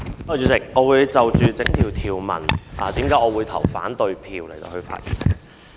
主席，我會就反對條文的理由發言。